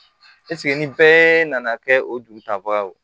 ni bɛɛ nana kɛ o dugutagaw